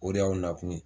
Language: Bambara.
O de y'aw nakun ye